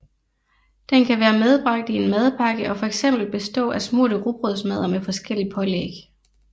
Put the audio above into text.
Den kan være medbragt i en madpakke og fx bestå af smurte rugbrødsmadder med forskelligt pålæg